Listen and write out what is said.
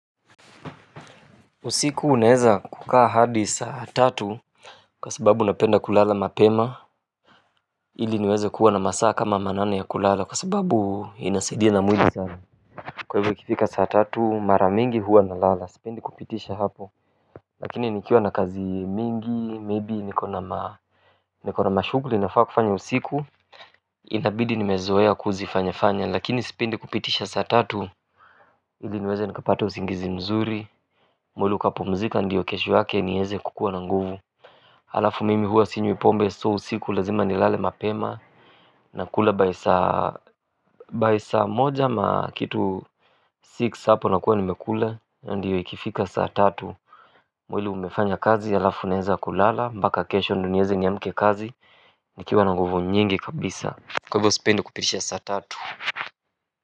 Usiku unaeza kukaa hadi saa tatu kwa sababu napenda kulala mapema ili niweze kuwa na masaa kama manane ya kulala kwa sababu inasaidia na mwili sana kwa hivyo kifika saa tatu mara mingi huwa nalala sipendi kupitisha hapo lakini nikiwa na kazi mingi maybe nikona ma nikona mashughuli nafaa kufanya usiku itabidi nimezoea kuzifanya fanya. Lakini sipendi kupitisha saa tatu ili niweze nikapata usingizi mzuri mwili ukapumzika ndiyo kesho yake nieze kukua na nguvu halafu mimi hua sinywi pombe so usiku lazima nilale mapema na kula by saa moja ama kitu six hapo nakua nimekula ndyo ikifika saa tatu mwili umefanya kazi halafu naeza kulala mpaka kesho ndyo nieze niamke kazi nikiwa na nguvu nyingi kabisa kwa hivyo sipendi kupitisha saa tatu.